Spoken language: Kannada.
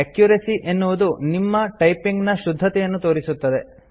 ಅಕ್ಯುರಸಿ - ಎನ್ನುವುದು ನಿಮ್ಮ ಟೈಪಿಂಗ್ ನ ಶುದ್ಧತೆಯನ್ನು ತೋರಿಸುತ್ತದೆ